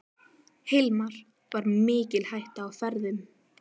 Hilmar: Var mikil hætta á ferðum?